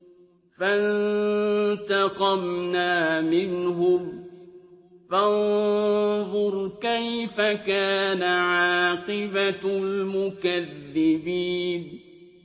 فَانتَقَمْنَا مِنْهُمْ ۖ فَانظُرْ كَيْفَ كَانَ عَاقِبَةُ الْمُكَذِّبِينَ